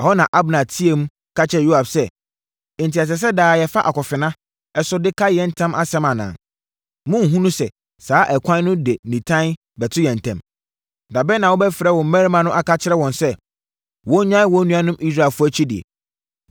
Ɛhɔ na Abner teaam, ka kyerɛɛ Yoab sɛ, “Enti, ɛsɛ sɛ daa yɛfa akofena so de ka yɛn ntam asɛm anaa? Monnhunu sɛ, saa ɛkwan no de nitan bɛto yɛn ntam? Da bɛn na wobɛfrɛ wo mmarima no aka akyerɛ wɔn sɛ, wɔnnyae wɔn nuanom Israelfoɔ akyidie?”